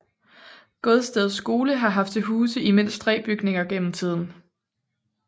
Godsted Skole har haft til huse i mindst tre bygninger gennem tiden